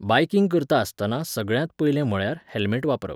Biking करता आसतना सगळ्यांत पयलें म्हळ्यार, हॅल्मॅट वापरप.